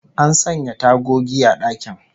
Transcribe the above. An sanya tagogi a dakin